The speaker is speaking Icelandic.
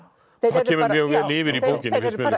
það kemur mjög vel yfir í bókinni finnst mér